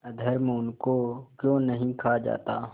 अधर्म उनको क्यों नहीं खा जाता